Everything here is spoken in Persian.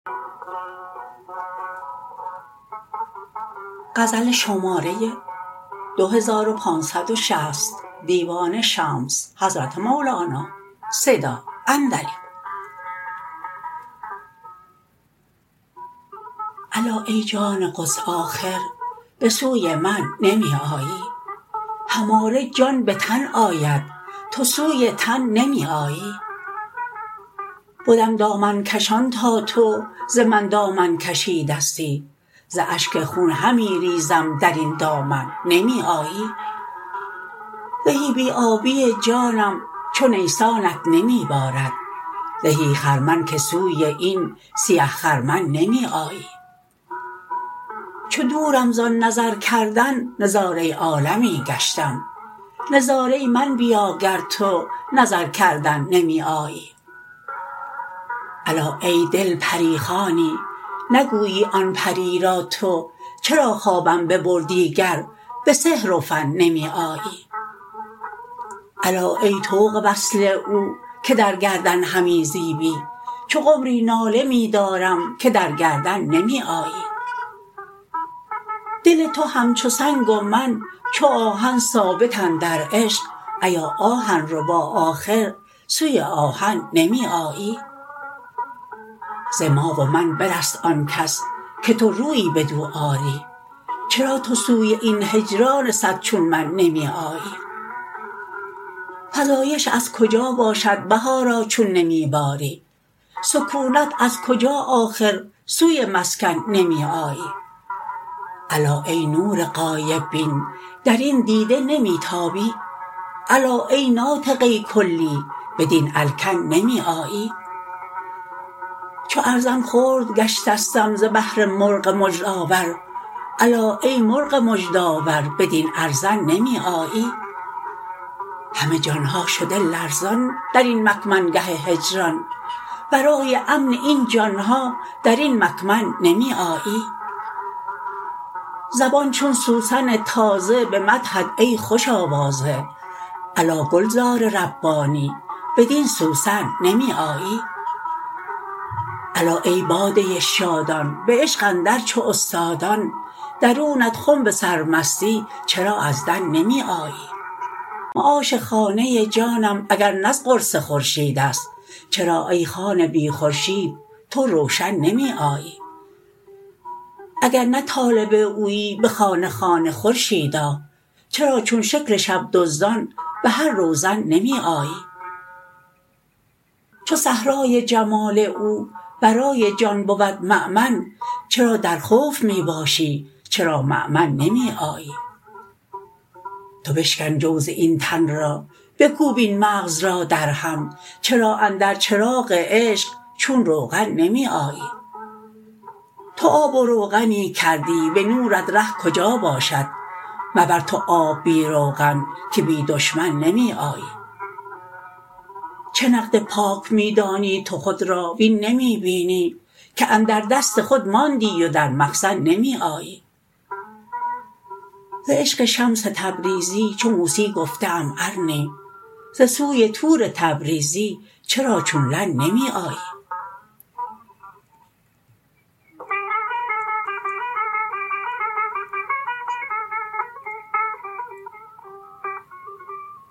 الا ای جان قدس آخر به سوی من نمی آیی هماره جان به تن آید تو سوی تن نمی آیی بدم دامن کشان تا تو ز من دامن کشیدستی ز اشک خون همی ریزم در این دامن نمی آیی زهی بی آبی جانم چو نیسانت نمی بارد زهی خرمن که سوی این سیه خرمن نمی آیی چو دورم زان نظر کردن نظاره عالمی گشتم نظاره من بیا گر تو نظر کردن نمی آیی الا ای دل پری خوانی نگویی آن پری را تو چرا خوابم ببردی گر به سحر و فن نمی آیی الا ای طوق وصل او که در گردن همی زیبی چو قمری ناله می دارم که در گردن نمی آیی دل تو همچو سنگ و من چو آهن ثابت اندر عشق ایا آهن ربا آخر سوی آهن نمی آیی ز ما و من برست آن کس که تو رویی بدو آری چرا تو سوی این هجران صد چون من نمی آیی فزایش از کجا باشد بهارا چون نمی باری سکونت از کجا آخر سوی مسکن نمی آیی الا ای نور غایب بین در این دیده نمی تابی الا ای ناطقه کلی بدین الکن نمی آیی چو ارزن خرد گشتستم ز بهر مرغ مژده آور الا ای مرغ مژده آور بدین ارزن نمی آیی همه جان ها شده لرزان در این مکمن گه هجران برای امن این جان ها در این مکمن نمی آیی زبان چون سوسن تازه به مدحت ای خوش آوازه الا گلزار ربانی بدین سوسن نمی آیی الا ای باده شادان به عشق اندر چو استادان درونت خنب سرمستی چرا از دن نمی آیی معاش خانه جانم اگر نه از قرص خورشید است چرا ای خانه بی خورشید تو روشن نمی آیی اگر نه طالب اویی به خانه خانه خورشید چرا چون شکل شب دزدان به هر روزن نمی آیی چو صحرای جمال او برای جان بود مؤمن چرا در خوف می باشی چرامؤمن نمی آیی تو بشکن جوز این تن را بکوب این مغز را درهم چرا اندر چراغ عشق چون روغن نمی آیی تو آب و روغنی کردی به نورت ره کجا باشد مبر تو آب بی روغن که بی دشمن نمی آیی چه نقد پاک می دانی تو خود را وین نمی بینی که اندر دست خود ماندی و در مخزن نمی آیی ز عشق شمس تبریزی چو موسی گفته ام ارنی ز سوی طور تبریزی چرا چون لن نمی آیی